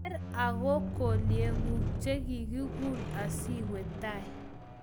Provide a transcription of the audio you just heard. Kwer ago gelyeguuk chekichuul asiwe tai